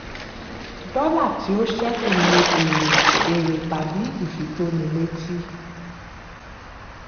dọ́là tí ó ṣẹ́kù ni èrè èrè tàbí ifitónilétí.